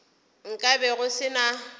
nka be go se na